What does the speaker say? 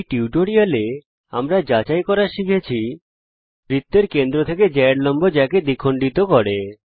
এই টিউটোরিয়ালে আমরা যাচাই করা শিখেছি বৃত্তের কেন্দ্র থেকে জ্যায়ের লম্ব জ্যাকে দ্বিখণ্ডিত করে